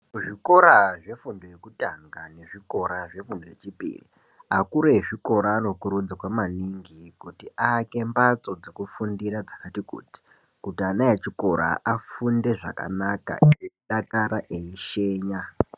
Kuzvikora zvefundo yekutanga nezvikora zvefundo yechipiri akuru ezvikora anokurudzirwa maningi kuti aake mbatso dzokufundira dzakati kuti. Kuti ana echikora afunde zvakanaka, eidakara, eishenya.